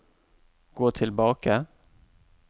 gå tilbake